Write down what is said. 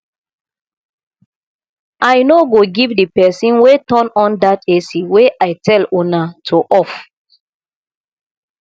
i no go give the person wey turn on dat ac wey i tell una to off